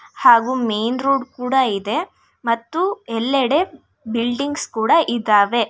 ಹಾಗೂ main road ಕೂಡ ಇದೆ ಮತ್ತು ಎಲ್ಲೆಡೆ ಬಿಲ್ಡಿಂಗ್ಸ್ ಕೂಡ ಇದ್ದಾವೆ.